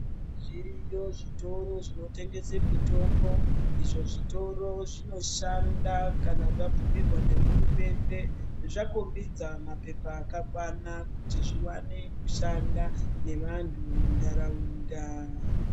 Zviriyo zvitoro zvinotengesa mitombo, izvo zvitoro zvinoshanda kana zvabvumirwa ngehurumende. Zvakombidza mapepa akakwana kuti zviwane kushanda nevantu munharaunda.